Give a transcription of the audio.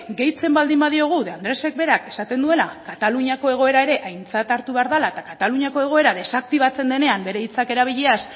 gehitzen baldin badiogu de andresek berak esaten duela kataluniako egoera ere aintzat hartu behar dela eta kataluniako egoera desaktibatzen denean bere hitzak erabiliaz